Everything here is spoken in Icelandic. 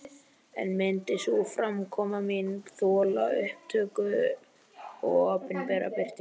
En myndi sú framkoma mín þola upptöku og opinbera birtingu?